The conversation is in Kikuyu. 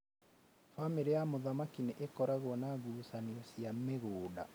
Bamĩrĩ ya mũthamaki nĩ ĩkoragwo na ngucanio cia mĩgunda